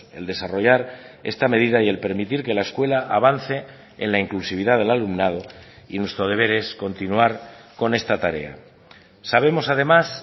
el desarrollar esta medida y el permitir que la escuela avance en la inclusividad del alumnado y nuestro deber es continuar con esta tarea sabemos además